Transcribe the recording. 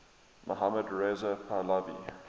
mohammad reza pahlavi